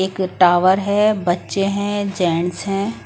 एक टावर है बच्चे हैं जेंट्स हैं ।